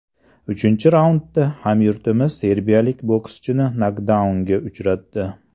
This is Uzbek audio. Uchinchi raundda hamyurtimiz serbiyalik bokschini nokdaunga uchratdi.